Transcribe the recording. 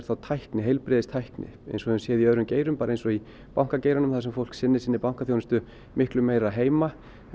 heilbrigðistækni eins og við höfum séð í öðrum geirum eins og í bankageiranum þar sem fólk sinnir sinni bankaþjónustu miklu meira heima